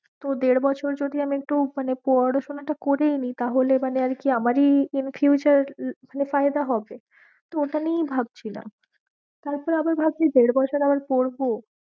তো দেড় বছর যদি আমি একটু মানে পড়াশোনাটা করেই নি তাহলে মানে আর কি আমারি in future মানে ফায়দা হবে তো ওটা নিয়েই ভাবছিলাম, তারপর আবার ভাবছি দেড় বছর আবার পড়বো